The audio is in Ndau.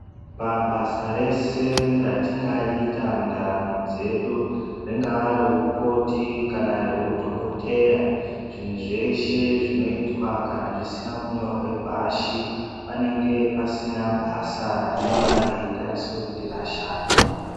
Pabasa rese ratingaita mundaramo dzedu ringava reukoti kana reudhokodheya zvinhu zveshe zvinoitwa kana zvisina kunyorwe pashi panenge pasina basa rinonga reitariswa kuti rashandwa.